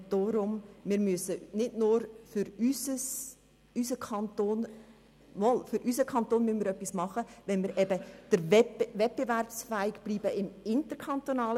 deshalb müssen wir für unseren Kanton etwas tun, wenn wir wettbewerbsfähig bleiben wollen.